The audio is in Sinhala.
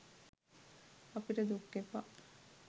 අපිට දුක් එපා